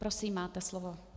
Prosím, máte slovo.